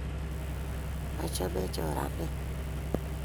achame choranet